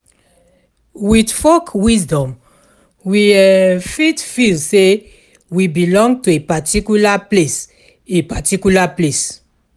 With folk wisdom, we um fit feel say we belong to a particular place a particular place